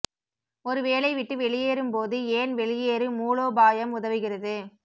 ஒரு வேலை விட்டு வெளியேறும் போது ஏன் வெளியேறு மூலோபாயம் உதவுகிறது